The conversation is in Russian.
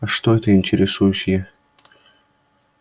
а что это интересуюсь я